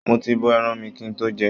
Mo ti bọ̀ ẹran mi kí n tó jẹ ẹ́.